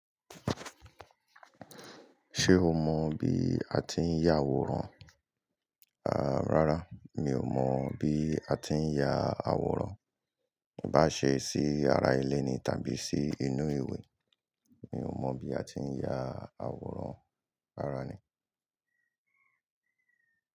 Ṣé o mọ bí a ti ń ya àwòrán? À, rárá mi ò mọ bí a ti ń ya àwòrán. iBá ṣe sí ara ilé ni tàbí sí inú ìwé, mi ò mọ bí a ti ń ya àwòrán rárá ni.